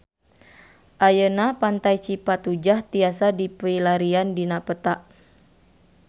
Ayeuna Pantai Cipatujah tiasa dipilarian dina peta